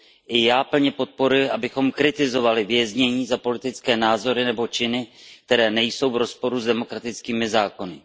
I já plně podporuji, abychom plně kritizovali věznění za politické názory nebo činy, které nejsou v rozporu s demokratickými zákony.